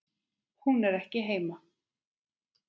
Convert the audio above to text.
Hún er ekki heima.